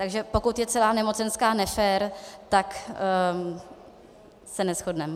Takže pokud je celá nemocenská nefér, tak se neshodneme.